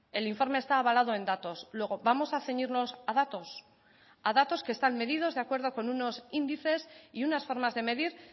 el informe está avalado en datos luego vamos a ceñirnos a datos a datos que están medidos de acuerdo con unos índices y unas formas de medir